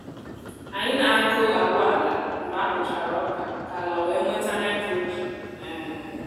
anyị na-akụ agwa ala mgbe a kụchara oka ka ala wee nweta nitrogen. um